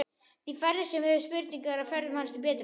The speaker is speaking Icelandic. Því færri sem höfðu spurnir af ferðum hans því betra.